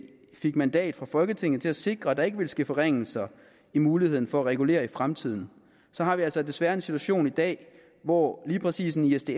fik mandat fra folketinget til at sikre at der ikke ville ske forringelser i muligheden for at regulere i fremtiden har vi altså desværre en situation i dag hvor lige præcis en isds